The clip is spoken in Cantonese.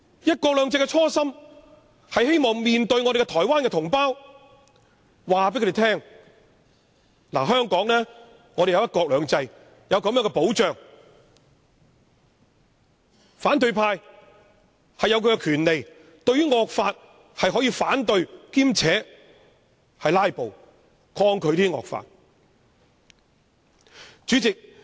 "一國兩制"的初心，是希望告訴台灣同胞，香港有"一國兩制"的保障，反對派有權反對惡法，兼且以"拉布"抗拒惡法。